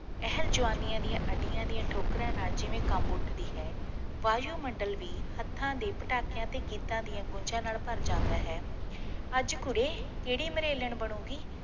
ਇਹ ਜਵਾਨੀਆਂ ਦੀਆਂ ਅੱਡੀਆਂ ਦੀਆਂ ਠੋਕਰਾਂ ਨਾਲ ਜਿਵੇਂ ਕਮ੍ਬ ਉੱਠਦੀ ਹੈ ਵਾਯੂਮੰਡਲ ਵੀ ਹਥਾਂ ਦੇ ਪਟਾਕਿਆਂ ਤੇ ਗੀਤਾਂ ਦੀਆਂ ਗੂੰਜਾਂ ਨਾਲ ਭਰ ਜਾਂਦਾ ਹੈ ਅੱਜ ਕੁੜੇ ਕਿਹੜੇ ਮਰੇਲਨ ਬਣੂਗੀ